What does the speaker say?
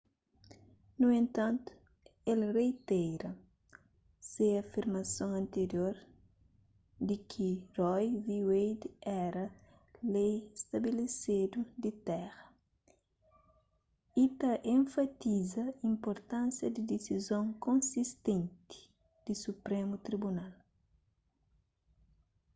nu entanti el reitera se afirmason antirior di ki roe v wade éra lei stabelesedu di téra y ta enfatiza inpurtánsia di disizon konsistenti di suprému tribunal